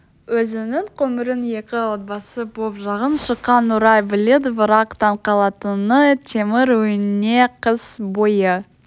өзінің көмірін екі отбасы боп жағып шыққанын нұрай біледі бірақ таң қалатыны темір үйіне қыс бойы